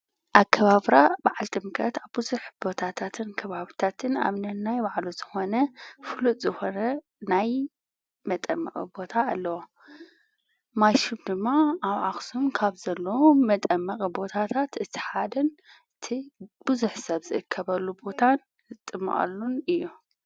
ኣከባብራ ብዓል ጥምቀት ኣብዙኅ ቦታታትን ክብብታትን ኣምነናይ ባዕሉ ዝኾነ ፍሉጥ ዝኾነ ናይ መጠመቕ ቦታ ኣለዋ ማሹም ድማ ኣብ ኣኽስም ካብ ዘለዉ መጠመቕ ቦታታት እቲሓድን እቲ ብዙኅ ሰብ ዝእከበሉ ቦታን ዝጥመዐሉን እዩ።